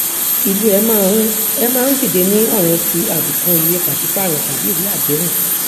ìlò ẹ má ń ẹ má ń dìde ní ọràn ti àbùkù ìwée pàṣípààrọ tàbí ìwé àdéhùn